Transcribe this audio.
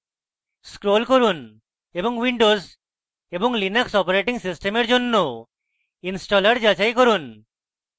scroll করুন এবং windows এবং linux operating systems জন্য ইনস্টলার যাচাই করুন